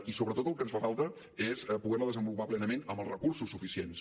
i sobretot el que ens fa falta és poder la desenvolupar plenament amb els recursos suficients